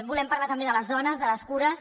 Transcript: volem parlar també de les dones de les cures